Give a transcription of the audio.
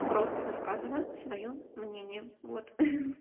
просто высказываю своё мнение вот